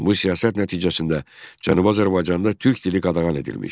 Bu siyasət nəticəsində Cənubi Azərbaycanda türk dili qadağan edilmiş.